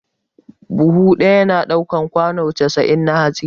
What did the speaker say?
Buhu ɗaya na ɗaukan kwano casa'in na hatsi ne